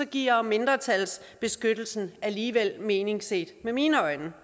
giver mindretalsbeskyttelsen alligevel mening set med mine øjne